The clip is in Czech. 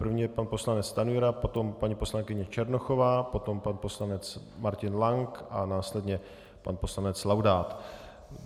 První je pan poslanec Stanjura, potom paní poslankyně Černochová, potom pan poslanec Martin Lank a následně pan poslanec Laudát.